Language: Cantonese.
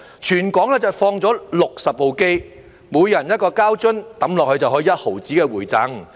全港放了60部機，每投入一個膠樽就可有 0.1 元的回贈。